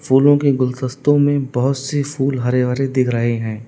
फूलों के गुलदस्तों में बहुत से फूल हरे हरे दिख रहे हैं।